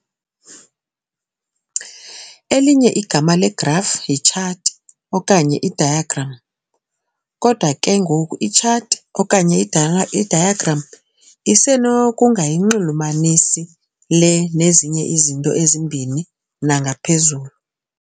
elinye igama legraf yitshathi okanye idiagram. kodwa ke ngoku, itshathi okanye idiagram isenokungayinxulumanisi le nnezinye izinto ezimbini nangaphezulu.